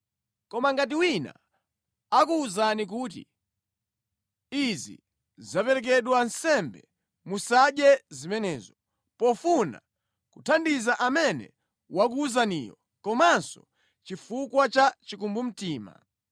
Koma ngati wina akuwuzani kuti, “Izi zaperekedwa nsembe,” musadye zimenezo, pofuna kuthandiza amene wakuwuzaniyo komanso chifukwa cha chikumbumtima.